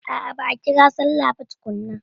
A'a ba'a ƙira sallah ba tukunna.